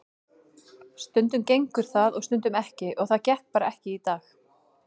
Stundum gengur það og stundum ekki og það gekk bara ekki í dag.